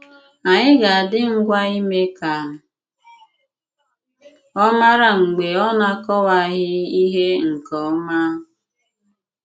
Ànyị̀ ga-àdí ngwa ímé ka ọ màrà mg̀bè ọ na-akọwàghị ihé nke òma.